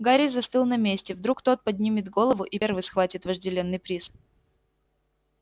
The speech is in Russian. гарри застыл на месте вдруг тот поднимет голову и первый схватит вожделенный приз